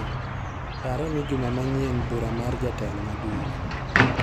Pare ni juma manyien bura mar jatelo maduong'.